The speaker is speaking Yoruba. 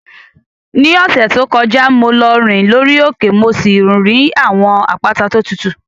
Ní ọ̀sẹ̀ tó kọjá, mo lọ rìn lórí òkè mo sì rí àwọn àpáta tó tutù.